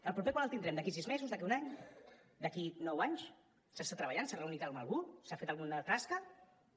el proper quan el tindrem d’aquí a sis mesos d’aquí a un any d’aquí a nou anys s’està treballant s’ha reunit amb algú s’han fet alguna tasca no